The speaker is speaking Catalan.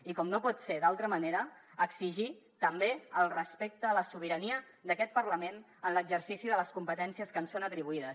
i com no pot ser d’altra manera exigir també el respecte a la sobirania d’aquest parlament en l’exercici de les competències que ens són atribuïdes